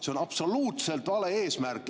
See on absoluutselt vale eesmärk!